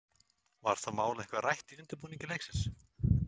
Var það mál eitthvað rætt í undirbúningi leiksins?